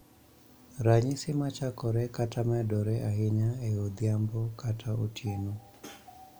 Ranyisi ma chakore kata medore ahinya e odhiambo kata otieno.